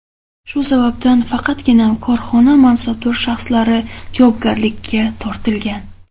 Shu sababdan faqatgina korxona mansabdor shaxslari javobgarlikka tortilgan.